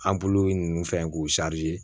ninnu fɛ k'u